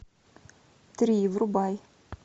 три врубай